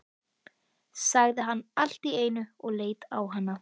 sagði hann allt í einu og leit á hana.